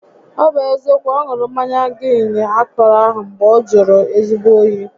Ọ bụ eziokwu, ọ ṅụrụ mmanya giin akọrọ ahụ mgbe ọ jụrụ ezigbo óyi